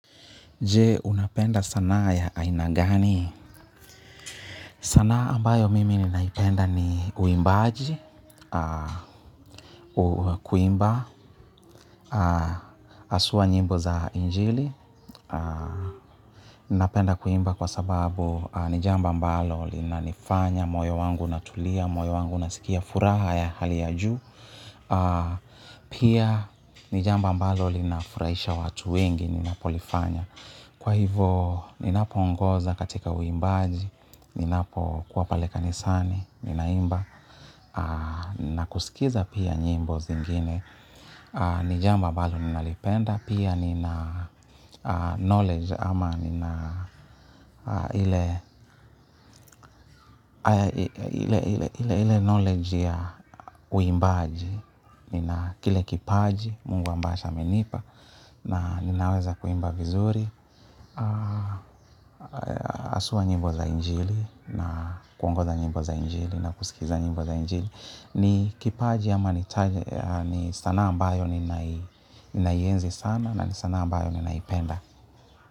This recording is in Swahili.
Je, unapenda sanaa ya aina gani? Sanaa ambayo mimi ninaipenda ni uimbaji, kuimba, asua nyimbo za injili. Napenda kuimba kwa sababu nijambo ambalo linanifanya, moyo wangu natulia, moyo wangu unasikia furaha ya hali ya juu. Pia ni jambo ambalo lina furaisha watu wengi ninapolifanya. Kwa hivo, ninapo ongoza katika uimbaji, ninapo kua paleka nisani, ninaimba, na kusikiza pia nyimbo zingine. Nijambo ambalo ninalipenda, pia nina knowledge ama nina, ile knowledge ya uimbaji, nina kile kipaji, mungu ambacho amenipa, na ninaweza kuimba vizuri, haswa nyimbo za injili na kuongoza nyimbo za injili na kusikiliza nyimbo za injili. Ni kipaji ama ni sanaa ambayo ni naienzi sana na ni sanaa ambayo ninaipenda.